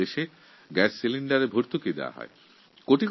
আমাদের দেশে গ্যাস সিলিণ্ডারে ভর্তুকি দেওয়া হয়